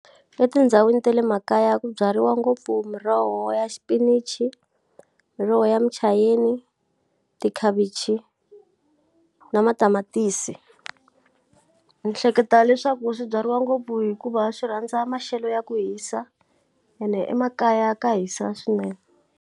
Etindhawini ta le makaya ku byariwa ngopfu miroho ya xipinichi, miroho ya mucheyeni, tikhavichi, na matamatisi. Ni hleketa leswaku swi byariwa ngopfu hikuva swi rhandza maxelo ya ku hisa, ene emakaya ka hisa swinene.